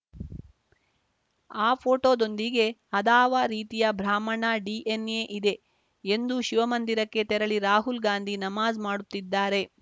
ಆ ಫೋಟೋದೊಂದಿಗೆ ಅದಾವ ರೀತಿಯಾ ಬ್ರಾಹ್ಮಣ ಡಿಎನ್‌ಎ ಇದೆ ಎಂದು ಶಿವ ಮಂದಿರಕ್ಕೆ ತೆರಳಿ ರಾಹುಲ್‌ ಗಾಂಧಿ ನಮಾಜ್‌ ಮಾಡುತ್ತಿದ್ದಾರೆ